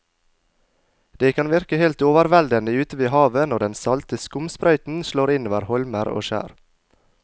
Det kan virke helt overveldende ute ved havet når den salte skumsprøyten slår innover holmer og skjær.